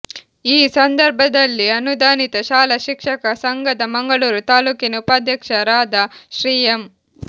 ಈ ಸಂದರ್ಭದಲ್ಲಿ ಅನುದಾನಿತ ಶಾಲಾ ಶಿಕ್ಷಕ ಸಂಘದ ಮಂಗಳೂರು ತಾಲೂಕಿನ ಉಪಾಧ್ಯಕ್ಷ ರಾದ ಶ್ರೀ ಎಂ